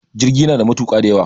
jirgi yana da matuka da yawa